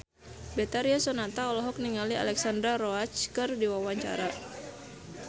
Betharia Sonata olohok ningali Alexandra Roach keur diwawancara